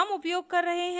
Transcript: हम उपयोग कर रहे हैं